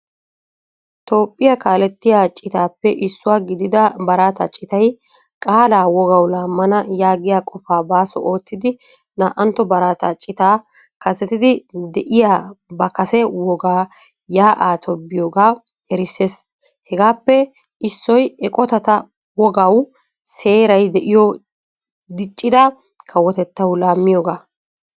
Toophpiyaa kaalettiyaa citappe issuwaa gidida baraata citay qaala wogaawu laamana yaagiyaa qofa baaso oottidi naa'antto baraata cita kasettidi de'iyaa ba kase wogaa ya'aa toobbiyoga erisees. Hegaappe issoy eqqotata wogaawu seeray de'iyo diccida kawottawu laamiyoga.